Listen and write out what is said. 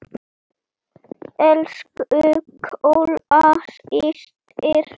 Elsku Kolla systir.